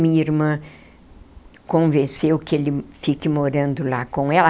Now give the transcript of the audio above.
Minha irmã convenceu que ele fique morando lá com ela.